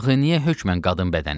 Axı niyə hökmən qadın bədəni?